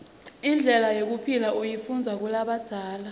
indlela yekuphila uyifundiza kulabadzala